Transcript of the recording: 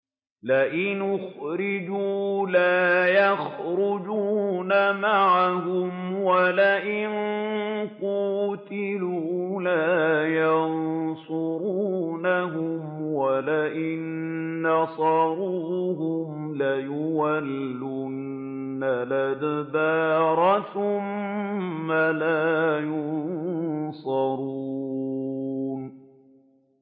لَئِنْ أُخْرِجُوا لَا يَخْرُجُونَ مَعَهُمْ وَلَئِن قُوتِلُوا لَا يَنصُرُونَهُمْ وَلَئِن نَّصَرُوهُمْ لَيُوَلُّنَّ الْأَدْبَارَ ثُمَّ لَا يُنصَرُونَ